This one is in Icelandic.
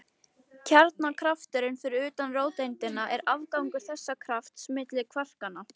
Kjarnakrafturinn fyrir utan róteindina er afgangur þessa krafts milli kvarkanna.